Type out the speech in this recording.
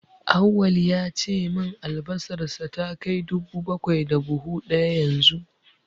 Auwal ya ce min albasarsa ta kai dubu bakwai duk buhu ɗaya yanzu.